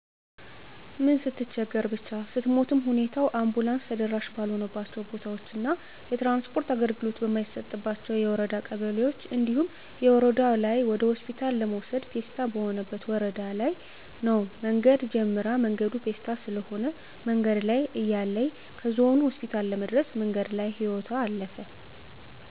ምን ስትቸገር ብቻ ስሞትም ሁኔታው አንቡላንስ ተደራሺ ባልሆነባቸው ቦታዎች እና የትራንስፖርት አገልግሎት በማይሰጥባቸው የወረዳ ቀበሌዎች እንዲሁም ወረደው ላይ ወደሆስፒታል ለመውሰድ ፔስታ የሆነበት ወረዳ ለይ ነው መንገድ ጀምራ መንገዱ ፔስታ ስለሆነ መንገድ ላይ እያለይ ከዞኑ ሆስፒታል ለመድረስ መንገድ ላይ ህይወቶ አለፈ።